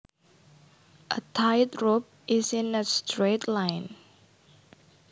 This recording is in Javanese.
A tight rope is in a straight line